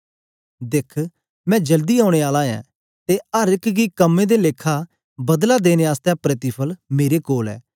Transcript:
दिख मैं जल्दी औने आला ऐं ते अर एक गी कम्में दे लेखा बदला देने आसतै प्रतिफल मेरे कोल ऐ